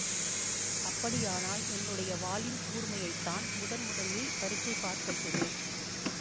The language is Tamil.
அப்படியானால் என்னுடைய வாளின் கூர்மையைத்தான் முதன் முதலில் பரீட்சை பார்க்கட்டுமே